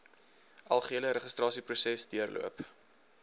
algehele registrasieproses deurloop